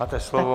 Máte slovo.